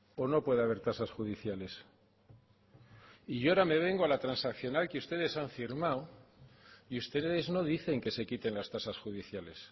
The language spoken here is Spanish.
o no puede haber tasas judiciales y ahora me vengo a la transaccional que ustedes han firmado y ustedes no dicen que se quiten las tasas judiciales